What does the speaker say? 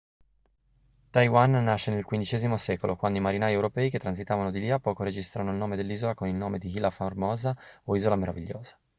taiwan nasce nel xv secolo quando i marinai europei che transitavano di lì a poco registrano il nome dell'isola con il nome di ilha formosa o isola meravigliosa